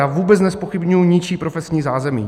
Já vůbec nezpochybňuji ničí profesní zázemí.